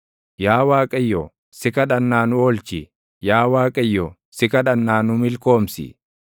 Yaa Waaqayyo, si kadhannaa nu oolchi; Yaa Waaqayyo, si kadhannaa nu milkoomsi.